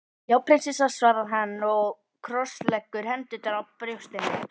Já prinsessa, svarar hann og krossleggur hendurnar á brjóstinu.